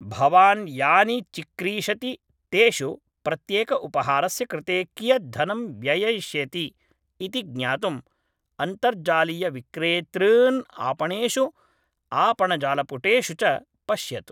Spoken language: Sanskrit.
भवान् यानि चिक्रीषति तेषु प्रत्येकउपहारस्य कृते कियत् धनं व्यययिष्यति इति ज्ञातुम् अन्तर्जालीयविक्रेतॄन् आपणेषु आपणजालपुटेषु च पश्यतु